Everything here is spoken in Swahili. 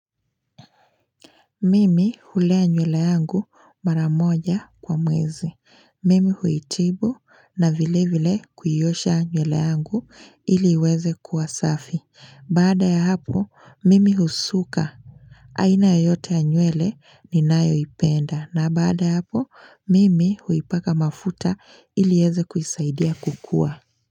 Mimi hulea nywele yangu mara moja kwa mwezi. Mimi huitibu na vile vile kuiosha nywele yangu ili iweze kuwasafi. Baada ya hapo, mimi husuka. Aina yoyote ya nywele ninayoipenda. Na baada ya hapo, mimi huipaka mafuta ili iweze kuisaidia kukua.